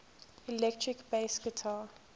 electric bass guitar